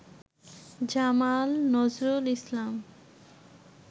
Jamal Nazrul Islam